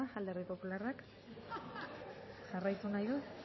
eta alderdi popularrak jarraitu nahi du